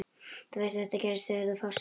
Þú veist að þetta gerðist þegar þú fórst.